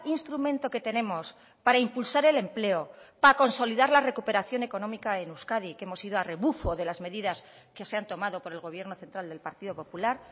instrumento que tenemos para impulsar el empleo para consolidar la recuperación económica en euskadi que hemos ido a rebufo de las medidas que se han tomado por el gobierno central del partido popular